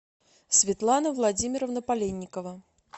светлана владимировна поленникова